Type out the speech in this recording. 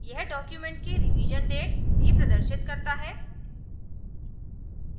यह document की revision date revision date भी प्रदर्शित करता है